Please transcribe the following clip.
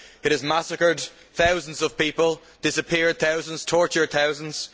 It has massacred thousands of people, disappeared thousands, tortured thousands.